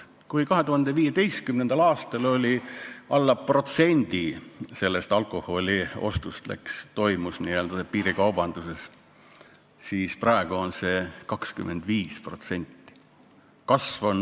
Kui 2015. aastal toimus veel alla protsendi alkoholiostust piirikaubanduses, siis praegu on see 25%.